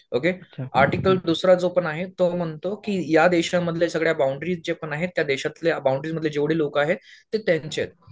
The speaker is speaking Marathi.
ओके आर्टिकल दुसरा जो पण आहे तो म्हणतो की या देशांमधल्या सगळ्या बॉण्डरीज जे पण आहे त्या देशातलं बाउंड्री मधले जेवढे लोकं आहेत ते त्यांचे आहेत.